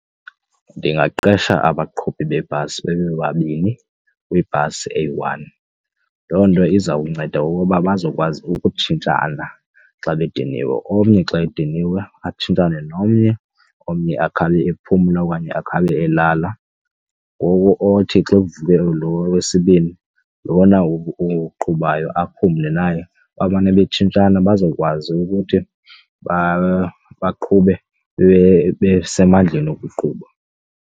Ndingaqesha abaqhubi beebhasi babe babini kwibhasi eyi-one, loo nto izawunceda okukuba bazokwazi ukutshintshana xa bediniwe. Omnye xa ediniwe atshintshane nomnye omnye akhabe ephumla okanye akhe abe elala, ngoku othi xa evuke lo wesibini lona uqhubayo aphumle naye. Bamane batshintshane bazokwazi ukuthi baqhube besemandleni ukuqhuba.